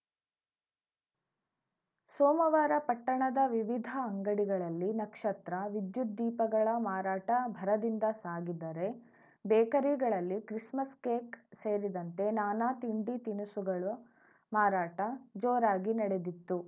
ಸೋಮವಾರ ಪಟ್ಟಣದ ವಿವಿಧ ಅಂಗಡಿಗಳಲ್ಲಿ ನಕ್ಷತ್ರ ವಿದ್ಯುತ್‌ ದೀಪಗಳ ಮಾರಾಟ ಭರದಿಂದ ಸಾಗಿದ್ದರೆ ಬೇಕರಿಗಳಲ್ಲಿ ಕ್ರಿಸ್‌ಮಸ್‌ ಕೇಕ್‌ ಸೇರಿದಂತೆ ನಾನಾ ತಿಂಡಿ ತಿನಿಸುಗಳು ಮಾರಾಟ ಜೋರಾಗಿ ನಡೆದಿತ್ತು